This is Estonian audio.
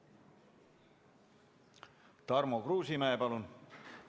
Tarmo Kruusimäe, palun!